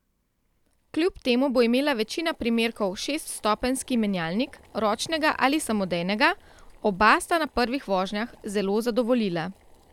Kljub temu bo imela večina primerkov šeststopenjski menjalnik, ročnega ali samodejnega, oba sta na prvih vožnjah zelo zadovoljila.